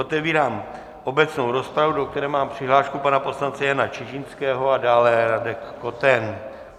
Otevírám obecnou rozpravu, do které mám přihlášku pana poslance Jana Čižinského, a dále Radek Koten.